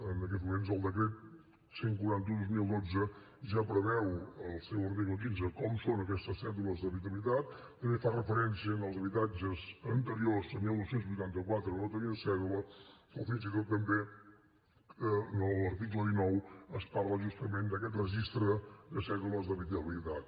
en aquests moments el decret cent i quaranta un dos mil dotze ja preveu en el seu article quinze com són aquestes cèdules d’habitabilitat també fa referència als habitatges anteriors a dinou vuitanta quatre que no tenien cèdula o fins i tot també en l’article dinou es parla justament d’aquest registre de cèdules d’habitabilitat